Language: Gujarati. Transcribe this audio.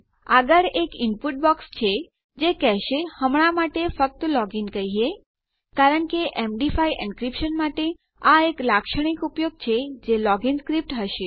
આગળ એક ઇનપુટ બોક્સ છે જે કહેશે હમણાં માટે ફક્ત લોગીન કહીએ કારણ કે એમડી5 એનક્રીપ્શન માટે આ એક લાક્ષણિક ઉપયોગ છે જે લોગ ઇન સ્ક્રીપ્ટ હશે